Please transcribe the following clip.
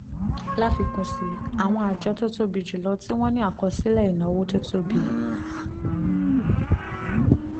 láfikún sí i àwọn àjọ tó tóbi jù lọ tí wọ́n ní àkọsílẹ̀ ìnáwó tó tóbi